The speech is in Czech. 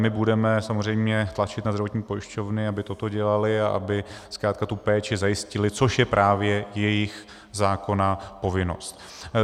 My budeme samozřejmě tlačit na zdravotní pojišťovny, aby toto dělaly a aby zkrátka tu péči zajistily, což je právě jejich zákonná povinnost.